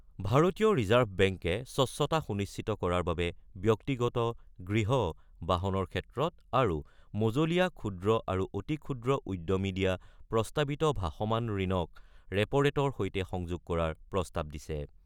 ভাৰতীয় ৰিজাৰ্ভ বেংকে স্বচ্ছতা সুনিশ্চিত কৰাৰ বাবে ব্যক্তিগত, গৃহ, বাহনৰ ক্ষেত্ৰত আৰু মজলীয়া, ক্ষুদ্ৰ আৰু অতি ক্ষুদ্ৰ উদ্যমী দিয়া প্ৰস্তাৱিত ভাসমান ঋণক ৰেপ'ৰেটৰ সৈতে সংযোগ কৰাৰ প্ৰস্তাৱ দিছে।